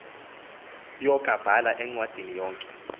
yokabhala encwadini yonke